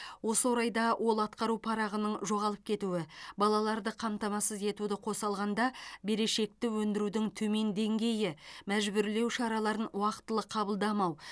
осы орайда ол атқару парағының жоғалып кетуі балаларды қамтамасыз етуді қоса алғанда берешекті өндірудің төмен деңгейі мәжбүрлеу шараларын уақтылы қабылдамау